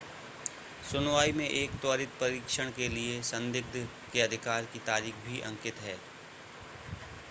सुनवाई में एक त्वरित परीक्षण के लिए संदिग्ध के अधिकार की तारीख भी अंकित है